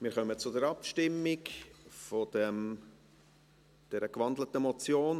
Wir kommen zur Abstimmung über diese in ein Postulat gewandelte Motion.